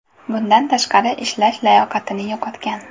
Bundan tashqari, ishlash layoqatini yo‘qotgan.